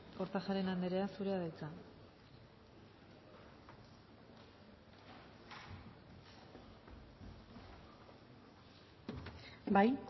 kortajarena andrea zurea da hitza bai